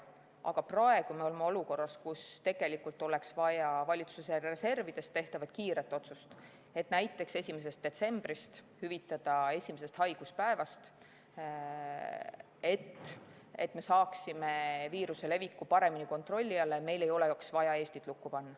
Aga praegu me oleme olukorras, kus oleks vaja kiiret otsust eraldada valitsuse reservidest raha, et näiteks 1. detsembrist maksta hüvitist alates esimesest haiguspäevast, et me saaksime viiruse leviku paremini kontrolli alla ja meil ei oleks vaja Eestit lukku panna.